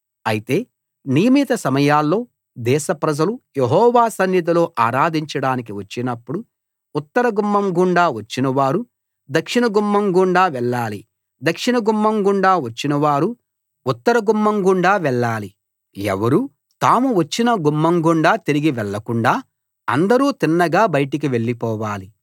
అయితే నియమిత సమయాల్లో దేశ ప్రజలు యెహోవా సన్నిధిలో ఆరాధించడానికి వచ్చినప్పుడు ఉత్తర గుమ్మం గుండా వచ్చినవారు దక్షిణ గుమ్మం గుండా వెళ్ళాలి దక్షిణ గుమ్మం గుండా వచ్చినవారు ఉత్తర గుమ్మం గుండా వెళ్ళాలి ఎవరూ తాము వచ్చిన గుమ్మం గుండా తిరిగి వెళ్ళకుండా అందరూ తిన్నగా బయటికి వెళ్లిపోవాలి